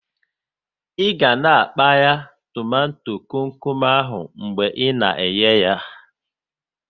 Ị ga na a kpaya tomato kom kom ahụ mgbe ị na eye yá